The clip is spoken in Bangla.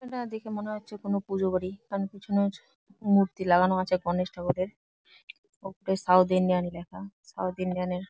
এখানে দেখে মনে হচ্ছে কোন পুজো বাড়ি এখানে | পেছনের মূর্তি লাগানো আছে গণেশ ঠাকুরের | ওপরে সাউথ ইন্ডিয়ান -এ লেখা সাউথ ইন্ডিয়ান -এর --